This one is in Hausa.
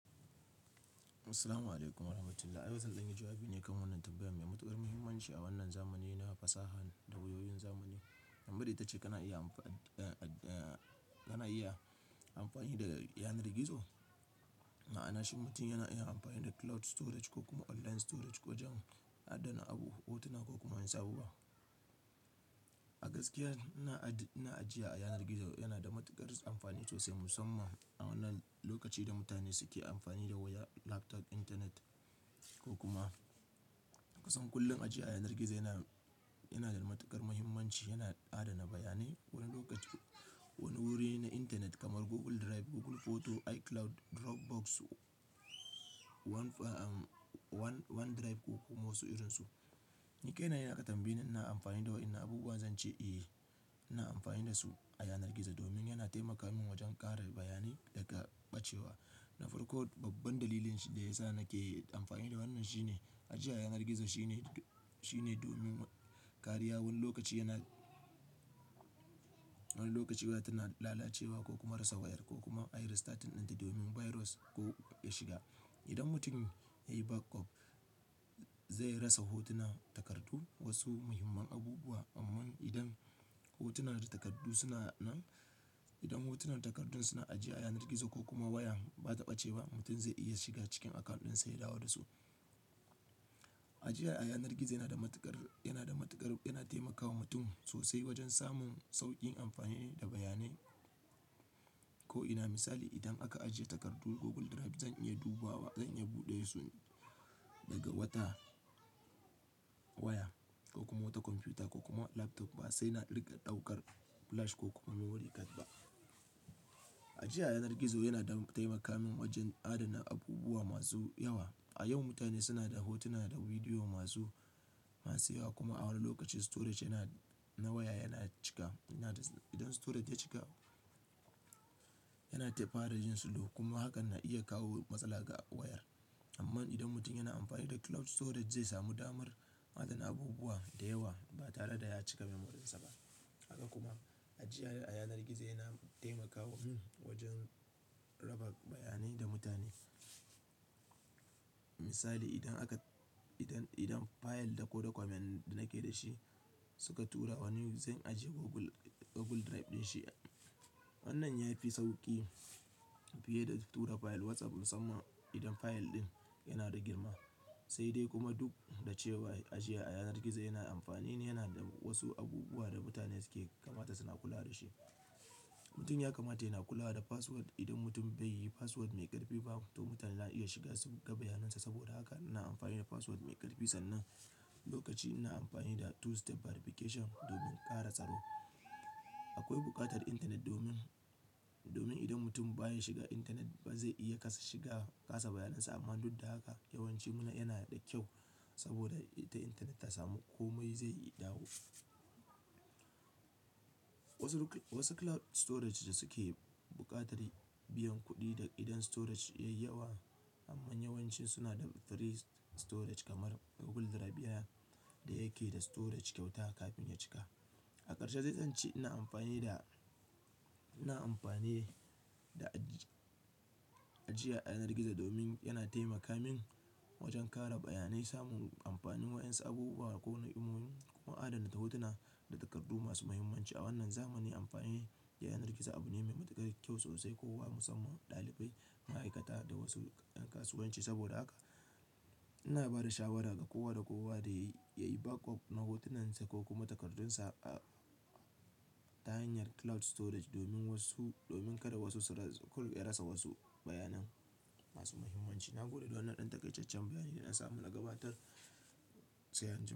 Salamu alaikum wa rahmatullah, a yau zan ɗanyi jawabi ne kan wannan tambayar mai matuƙar mahimmanci a wannan zamanin na fasaha da wayoyin zamani. Tambayar ita ce: kana iya amfani, kana iya, amfani da yanar gizo? Ma'ana shin mutum yana iya amfani da cloud storage ko kuma online storage wajen adana abu, hotuna ko kuma wasu abubuwa. A gaskiya ina ajiya a yanar gizo, yana da matuƙar amfani sosai musamman a wannan lokaci da mutane suke amfani da waya, laptop, intanet ko kuma kusan kullum ajiya a yanar gizo yana, yana da matuƙar mahimmanci. Yana adana bayanai wani lokaci, wani wuri na intanet kamar Google Drive, Google Photo, iCloud, Dropbox, OneDrive ko kuma wasu irinsu. Ni kai na idan aka tambaye ni ina amfani da waƴannan abubuwa, zan ce eh, ina amfani da su a yanar gizo, domin yana taimaka min wajen kare bayanai daga ɓacewa. Na farko, babban dalilin da ya sa nake amfani da wannan shine, ajiya a yanar gizo shine, shine domin kariya, wani lokaci yana, wani lokaci waya tana lalacewa ko kuma rasa wayar, ko kuma ayi restarting ɗinta domin virus ko ya shiga. Idan mutum yayi backup, zai rasa hotuna, takardu, wasu muhimman abubuwa, Amman idan hotuna da takardu suna nan, idan hotunan takardun suna ajiye a yanar gizo ko kuma wayan ba ta ɓace ba, mutum zai iya shiga cikin akawun ɗinsa ya dawo da su. Ajiya a yanar gizo yana da matuƙar, yana da matuƙar, yana taimakawa mutum sosai wajen samun sauƙin amfani da bayanai. Ko'ina, misali idan aka ajiye takardu Google Drive zan iya dubawa, zan iya buɗe su daga wata waya, ko kuma wata kwamfuta, ko kuma laptop, ba sai na riƙa ɗaukar flash ko kuma memory card ba. Ajiya a yanar gizo yana taimaka min wajen adana abubuwa masu yawa. A yau mutane suna da hotuna da bidiyo masu, masu yawa kuma a wani lokaci storage yana, na waya yana cika. Idan storage ya cika, yana tafara yin slow kuma hakan na iya kawo matsala ga wayar. Amman idan mutum yana amfani da cloud storage zai samu damar adana abubuwa da yawa ba tare da ya cika memory dinsa ba. Haka kuma ajiya a yanar gizo yana taimakawa, wajen raba bayanai da mutane. Misali idan aka, idan, idan fayil da ko dokument, nake da shi suka tura wani, zan ajiye Google, Google Drive ɗin shi. Wannan ya fi sauƙi fiye da tura fayil WhatsApp musamman idan fayil ɗin yana da girma. Sai dai kuma duk da cewa ajiya a yanar gizo yana amfani, yana da wasu abubuwa da mutane suke kamata suna kula da shi. Mutum ya kamata yana kula da password. Idan mutum bai yi password mai ƙarfi ba, to mutane za'a iya shiga su ga bayanansa. Saboda haka ina amfani da password mai ƙarfi, sannan lokaci ina amfani da two step verification domin ƙara tsaro. Akwai buƙatar intanet domin, domin idan mutum baya shiga intanet ba zai iya kasa shiga, kasa bayanansa. Amma duk da haka yawancin mu, na yana da kyau, saboda ita intanet ta samu komai zai iya dawo. Wasu, wasu cloud storage da suke buƙatar biyan kuɗi idan storage ya yi yawa. Amma yawancin suna da free storage kamar Google Drive, daya, da yake da storage kyauta kafin ya cika. A ƙarshe dai zance ina amfani da, ina amfani da ajiya a yanar gizo domin yana taimaka min wajen kara bayanai, samun amfanin waƴansu abubuwa, ko ni'imomin, ko adanta hotuna da takardu masu mahimmanci. A wannan zamani, amfani da yanar gizo abu ne mai matuƙar kyau sosai kowa musamman ɗalibai, ma'aikata da wasu ɗan kasuwanci. Saboda haka, ina ba da shawara ga kowa da kowa da yayi backup na hotunansa ko kuma takardunsa, a ta hanyar cloud storage domin wasu, domin kada wasu su rasa, ku, ya rasa wasu bayanan masu mahimmanci. Na gode da wannan ɗan taƙaitaccen bayani da na samu na gabatar. Sai an jima.